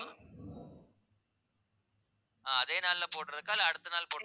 அதே நாள்ல போடறதுக்கா? இல்லை, அடுத்த நாள்